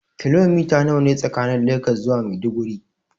Kilomita nawa ne tsakanin Legas zuwa Maiduguri.